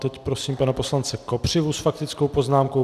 Teď prosím pana poslance Kopřivu s faktickou poznámku.